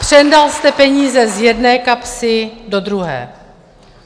Přendal jste peníze z jedné kapsy do druhé.